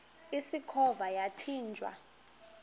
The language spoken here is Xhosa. usikhova yathinjw a